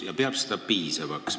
Ta peab seda piisavaks.